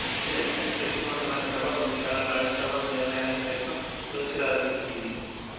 ఇది అత్యంత శక్తివంతమైన సభ కొన్ని సార్లు రాజ్యసభ నిర్ణయాలను సైతం తోసిరాజంటుంది